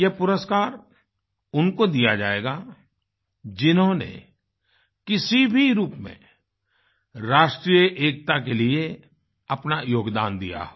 यह पुरस्कार उनको दिया जाएगा जिन्होंने किसी भी रूप में राष्ट्रीय एकता के लिए अपना योगदान दिया हो